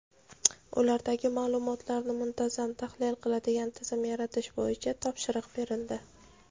ulardagi ma’lumotlarni muntazam tahlil qiladigan tizim yaratish bo‘yicha topshiriq berildi.